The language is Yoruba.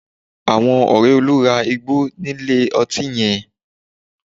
Àwọn ọ̀rẹ́ Olú ra igbó nílé ọtí yẹn